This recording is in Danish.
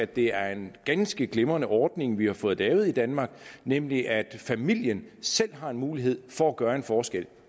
det er en ganske glimrende ordning vi har fået lavet i danmark nemlig at familien selv har en mulighed for at gøre en forskel